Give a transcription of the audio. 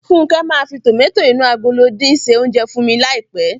Fúnkẹ́ máa fi tòmátò inú agolo dín se oúnjẹ fún mi ní àìpé.